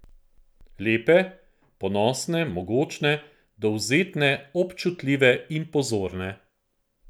Lepe, ponosne, mogočne, dovzetne, občutljive in pozorne.